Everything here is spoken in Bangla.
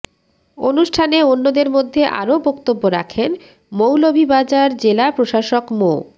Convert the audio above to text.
অনুষ্ঠানে অন্যদের মধ্যে আরো বক্তব্য রাখেন মৌলভীবাজার জেলা প্রশাসক মো